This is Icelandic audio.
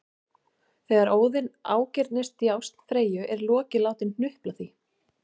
Þegar Óðinn ágirnist djásn Freyju er Loki látinn hnupla því